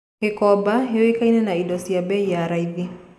Gĩkomba yũĩkaine na indo cia bei ya raithi